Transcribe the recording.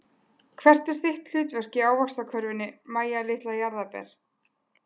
Hvert er þitt hlutverk í ávaxtakörfunni Mæja litla jarðarber?